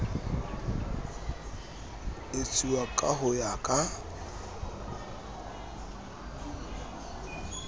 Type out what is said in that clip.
etsuwa ka ho ya ka